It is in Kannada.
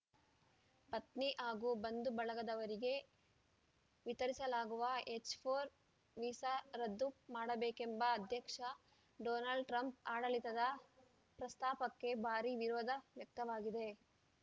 ಪತ್ನಿ ಹಾಗೂ ಬಂಧುಬಳಗದವರಿಗೆ ವಿತರಿಸಲಾಗುವ ಎಚ್‌ಫೋರ್ ವೀಸಾ ರದ್ದು ಮಾಡಬೇಕೆಂಬ ಅಧ್ಯಕ್ಷ ಡೊನಾಲ್ಡ್‌ ಟ್ರಂಪ್‌ ಆಡಳಿತದ ಪ್ರಸ್ತಾಪಕ್ಕೆ ಭಾರೀ ವಿರೋಧ ವ್ಯಕ್ತವಾಗಿದೆ